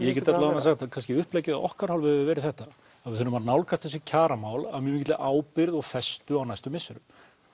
ég get allavega sagt kannski að uppleggið af okkar hálfu hafi verið þetta að við þurfum að nálgast þessi kjaramál af mikilli ábyrgð og festu á næstu misserum